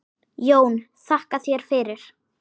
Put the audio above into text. JÓN: Þakka þér fyrir!